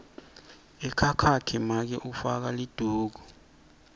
ekhakhakhe make ufaka liduku